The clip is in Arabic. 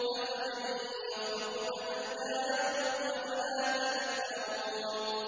أَفَمَن يَخْلُقُ كَمَن لَّا يَخْلُقُ ۗ أَفَلَا تَذَكَّرُونَ